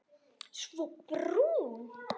Svo brún.